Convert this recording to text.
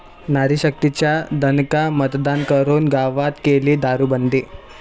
नारीशक्तीचा दणका, मतदान करून गावात केली दारूबंदी!